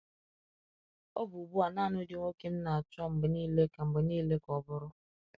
Ọ bụ ugbu a naanị ụdị nwoke m na-achọ mgbe niile ka mgbe niile ka ọ bụrụ.